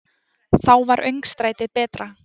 Þá var öngstrætið betra.